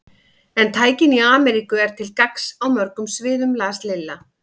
En tæknin í Ameríku er til gagns á mörgum sviðum las Lilla.